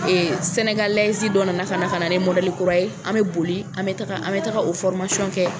sɛnɛgalɛzi dɔ nana ka na ka na ni kura ye an mɛ boli an mɛ taga an bɛ taga o kɛ.